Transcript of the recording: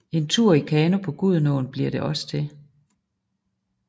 En tur i kano på Gudenåen bliver det også til